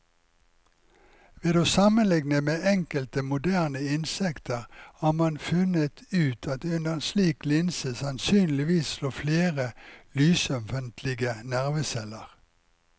Ved å sammenligne med enkelte moderne insekter har man funnet ut at det under en slik linse sannsynligvis lå flere lysømfintlige nerveceller.